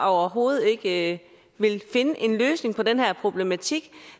overhovedet ikke vil finde en løsning på den her problematik